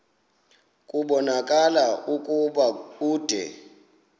kubonakala ukuba ude